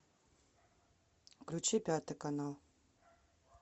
включи пятый канал